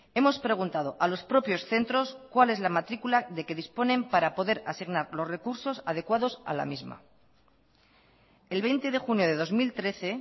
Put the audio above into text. hemos preguntado a los propios centros cuál es la matrícula de que disponen para poder asignar los recursos adecuados a la misma el veinte de junio de dos mil trece